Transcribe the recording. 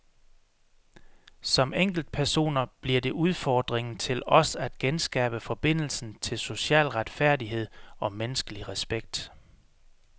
Som enkeltpersoner bliver det udfordringen til os at genskabe forbindelsen til social retfærdighed og menneskelig respekt.